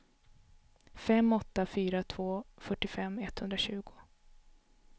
fem åtta fyra två fyrtiofem etthundratjugo